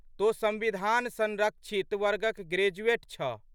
तोँ संविधान संरक्षित वर्गक ग्रेजुएट छह।